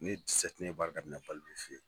ne ye baara daminɛ Balibi fe ye.